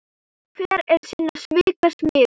Hver er sinna svika smiður.